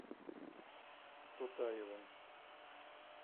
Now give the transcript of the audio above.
тутаевым